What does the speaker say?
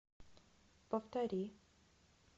повтори